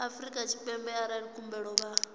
afrika tshipembe arali khumbelo vha